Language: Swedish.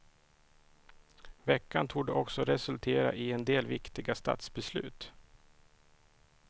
Veckan torde också resultera i en del viktiga statsbeslut.